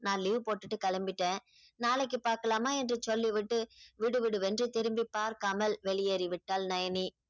நான் leave போட்டுட்டு கிளம்பிட்டேன் நாளைக்கு பாக்கலாமா என்று சொல்லிவிட்டு விடுவிடுவென்று திரும்பி பார்க்காமல் வெளியேறிவிட்டாள் நயனி